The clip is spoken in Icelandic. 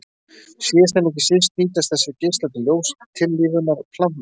Síðast en ekki síst nýtast þessir geislar til ljóstillífunar plantna.